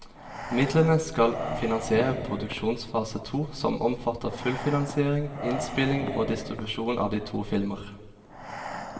Midlene skal finansiere produksjonsfase to, som omfatter fullfinansiering, innspilling og distribusjon av de to filmer.